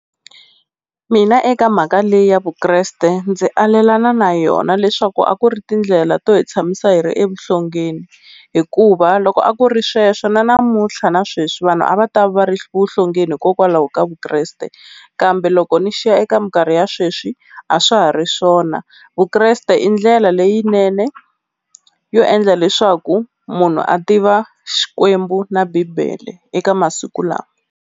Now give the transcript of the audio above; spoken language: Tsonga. Mina eka mhaka leyi ya Vukreste ndzi alelana na yona leswaku a ku ri tindlela to hi tshamisa hi ri evuhlongeni, hikuva loko a ku ri sweswo na namuntlha nasweswi vanhu a va ta va ri evuhlongeni hikokwalaho ka Vukreste, kambe loko ni xiya eka minkarhi ya sweswi a swa ha ri swona Vukreste i ndlela leyinene yo endla leswaku munhu a tiva Xikwembu na bibele eka masiku lawa.